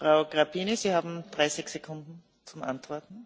Am înțeles întrebarea colegei și o apreciez foarte mult.